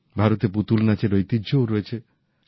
ভারতে পুতুল নাচের ঐতিহ্যও রয়েছে